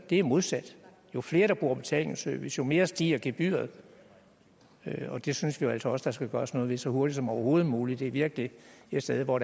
det modsat jo flere der bruger betalingsservice jo mere stiger gebyret og det synes vi altså også at der skal gøres noget ved så hurtigt som overhovedet muligt det er virkelig et sted hvor